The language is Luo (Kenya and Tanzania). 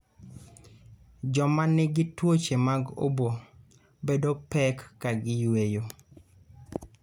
Joma nigi tuoche mag obo bedo pek ka gi yueyo.